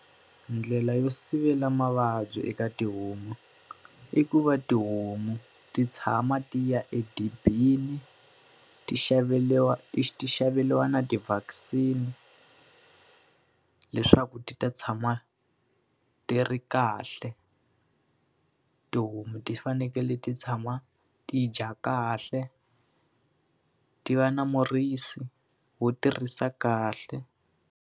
Ndlela yo sivela mavabyi eka tihomu, i ku va tihomu ti tshama ti ya edibini, ti xaveriwa ti xaveriwa na ti-vaccine-i leswaku ti ta tshama ti ri kahle. Tihomu ti fanekele ti tshama ti dya kahle, ti va na murisi wo ti risa kahle.